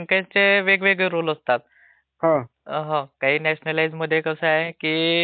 हो. काही न्याशनलाईज्द मध्ये कसं आहे की बँक स्वतः प्रोव्हाईड करते एटीएम कार्ड